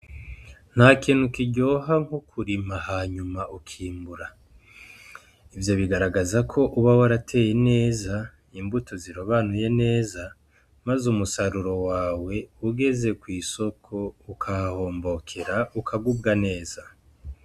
Nta kintu kiryoha nko kurima hanyuma ukimbura. Ivyo bigaragaza ko uba warateye neza imbuto zirobanuye neza, maze umusaruro wawe ugeze kw'isoko ukahahombokera, ukagubwa neza.